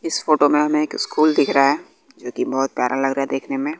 इस फोटो में हमें एक स्कूल दिख रहा है जो की बहोत प्यारा लग रहा है देखने में।